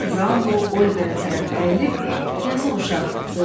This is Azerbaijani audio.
Mister Braunlo Oliverə tərəf əyilib, yazıq uşaq, dedi.